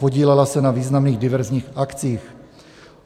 Podílela se na významných diverzních akcích.